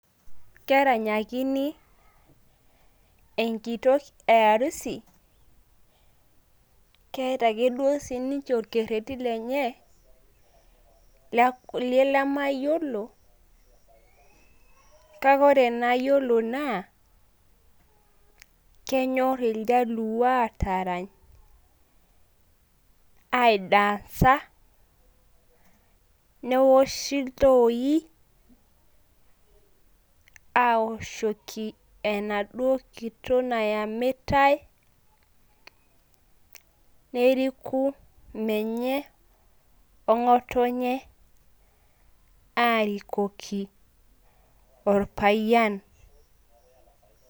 Keranyakini enkito e harusi, keeta ake duo sii ninche olkereti lenye lemayiolo, kake ore inayiolo naa kenyorr iljaluo aatarany aidansa, newoshi iltooi. Aawoshoki enaduo kitok nayamitai. Neriku menye o ng`otonye aarikoki olpayian.